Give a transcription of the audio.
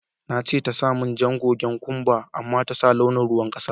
Na ce ta sa mun jan gogen kumba amma ta sa launin ruwan kasa.